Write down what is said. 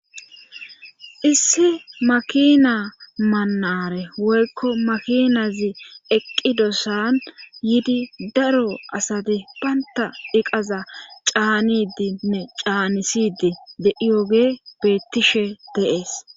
Issi makina manare woykko makinazi eqqidossan yiidi daro asati baynta eqaza caanidinne caanisidi deiyoge beettishe deees.